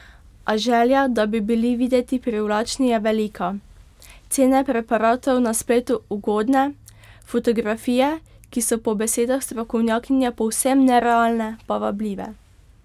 A želja, da bi bili videti privlačni, je velika, cene preparatov na spletu ugodne, fotografije, ki so po besedah strokovnjakinje povsem nerealne, pa vabljive.